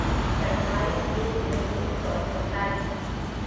सत्ताईस एक उन्नीस सौ उनतालीस